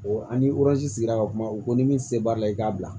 an ni sigira ka kuma u ko ni min se b'a la i k'a bila